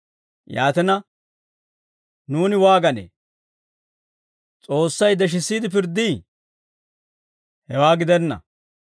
Yaatina, nuuni waaganee? S'oossay deshissiide pirddii? Hewaa gidenna.